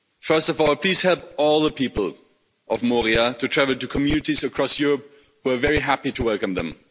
First of all, please help all the people of Moria to travel to communities across Europe who are very happy to welcome them.